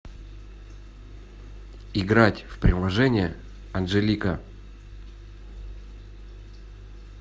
играть в приложение анжелика